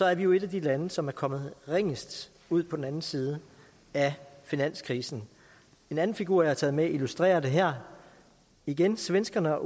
er vi jo et af de lande som er kommet ringest ud på den anden side af finanskrisen en anden figur jeg har taget med illustrerer det her igen svenskerne og